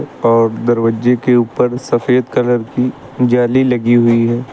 और दरवाजे के ऊपर सफेद कलर की जाली लगी हुई है।